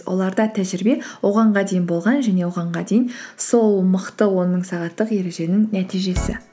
оларда тәжірибе дейін болған және дейін сол мықты он мың сағаттық ереженің нәтижесі